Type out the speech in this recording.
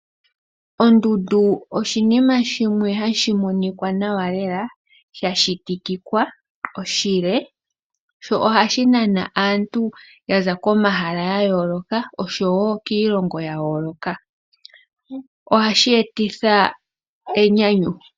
Ondundu oshinima shimwe hashi monika nawa lela, sha shitikika oshile, sho ohashi nana aantu yaza komahala ga yooloka, nosho wo kiilongo ya yooloka. Ohashi etitha enyanyu.